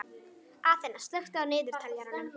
Aþena, slökktu á niðurteljaranum.